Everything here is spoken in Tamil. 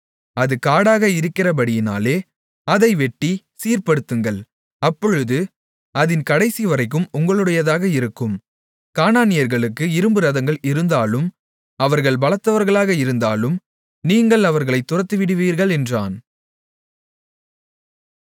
அது காடாக இருக்கிறபடியினாலே அதை வெட்டிச் சீர்படுத்துங்கள் அப்பொழுது அதின் கடைசிவரைக்கும் உங்களுடையதாக இருக்கும் கானானியர்களுக்கு இரும்பு ரதங்கள் இருந்தாலும் அவர்கள் பலத்தவர்களாக இருந்தாலும் நீங்கள் அவர்களைத் துரத்திவிடுவீர்கள் என்றான்